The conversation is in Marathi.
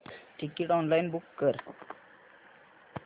टिकीट ऑनलाइन बुक कर